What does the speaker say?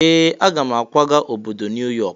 Ee! Aga m akwaga obodo New York.